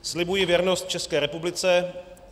"Slibuji věrnost České republice.